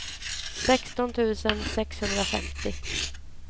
sexton tusen sexhundrafemtio